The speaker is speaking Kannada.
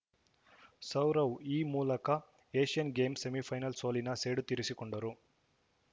ಸೌರವ್‌ ಈ ಮೂಲಕ ಏಷ್ಯನ್‌ ಗೇಮ್ಸ್‌ ಸೆಮಿಫೈನಲ್‌ ಸೋಲಿನ ಸೇಡು ತೀರಿಸಿಕೊಂಡರು